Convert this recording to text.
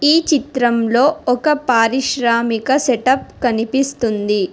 ఈ చిత్రంలో ఒక పారిశ్రామిక సెటప్ కనిపిస్తుంది.